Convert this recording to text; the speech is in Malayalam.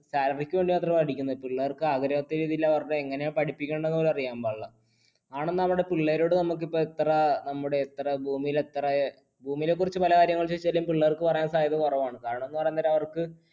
salary ക്ക് വേണ്ടി മാത്രമാണ് പഠിപ്പിക്കുന്നത്, പിള്ളേർക്ക് അങ്ങനെ പഠിപ്പിക്കണ്ടേ എന്ന് പോലും അറിയാൻപാടില്ല. പിള്ളേരോട് നമ്മുക്ക് എപ്പ എത്ര, നമ്മുടെ എത്ര ഭൂമിയിൽ എത്ര. ഭൂമിയെ കുറിച്ച പല കാര്യങ്ങൾ ചോദിച്ചാലും, പിള്ളേർക്ക് പറയാൻ സാധ്യത കുറവാണ് കാരണമെന്ന് പറഞ്ഞ അവർക്ക്